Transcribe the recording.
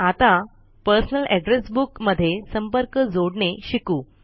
आता personal address book मध्ये संपर्क जोडणे शिकू